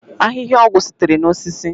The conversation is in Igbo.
ahịhịa ọgwụ sitere na osisi